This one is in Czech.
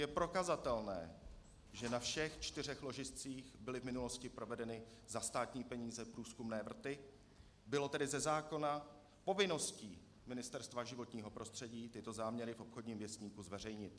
Je prokazatelné, že na všech čtyřech ložiscích byly v minulosti provedeny za státní peníze průzkumné vrty, bylo tedy ze zákona povinností Ministerstva životního prostředí tyto záměry v Obchodním věstníku zveřejnit.